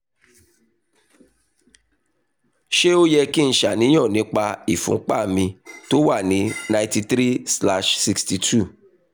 ṣé ó yẹ kí n ṣàníyàn nípa ìfúnpá mi tó wà ní 93/62?